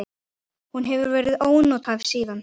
Hún hefur verið ónothæf síðan.